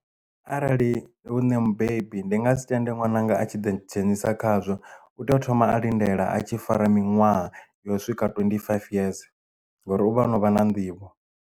Arali hu nṋ mubebi ndi nga si tende ṅwananga a tshi ḓi dzhenisa khazwo u tea u thoma a lindela a tshi fara minwaha yo swika twendi faifi yeze ngori uvha o no vha na nḓivho.